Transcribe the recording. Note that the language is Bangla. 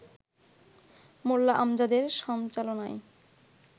মোল্লা আমজাদের সঞ্চালনায়